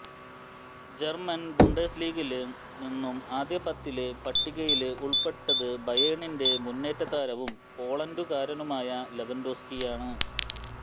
German ബുണ്ടാസ് ലീഗില് നിന്നും ആദ്യ പത്തിലെ പട്ടികയില് ഉള്പ്പെട്ടത് ബയേണിന്റെ മുന്നേറ്റതാരവും പോളണ്ടുകാരനുമായ ലെവന്ഡോവ്സ്ക്കിയാണ്